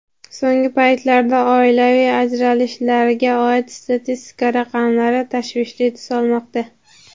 So‘nggi paytlarda oilaviy ajralishlarga oid statistika raqamlari tashvishli tus olmoqda.